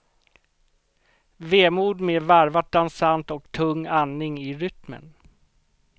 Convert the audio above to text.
Vemod med varvat dansant och tung andning i rytmen.